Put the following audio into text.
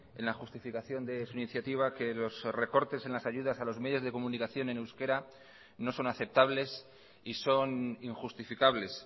en la justificación de su iniciativa que los recortes en las ayudas a los medios de comunicación en euskera no son aceptables y son injustificables